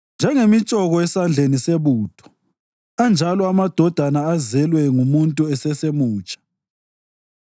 Njengemitshoko esandleni sebutho anjalo amadodana azelwe ngumuntu esesemutsha.